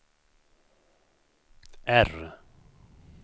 R